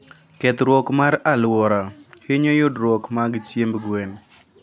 Kethruok mar aluora hinyo yudruok mag chiemb gwen